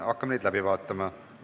Hakkame neid läbi vaatama.